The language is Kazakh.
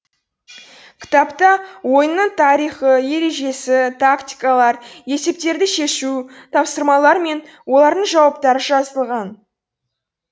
кітапта ойынның тарихы ережесі тактикалар есептерді шешу тапсырмалар мен олардың жауаптары жазылған